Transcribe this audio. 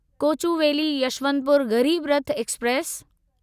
Kochuveli Yesvantpur Garib Rath express